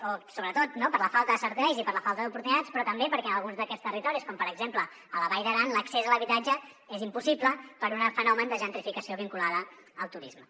o sobretot no per la falta de serveis i per la falta d’oportunitats sinó també perquè en alguns d’aquests territoris com per exemple la vall d’aran l’accés a l’habitatge és impossible per un fenomen de gentrificació vinculada al turisme